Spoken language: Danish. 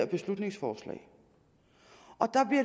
beslutningsforslag